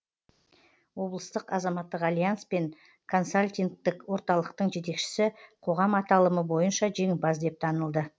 облыстық азаматтық альянс пен консалтингтік орталықтың жетекшісі қоғам аталымы бойынша жеңімпаз деп танылды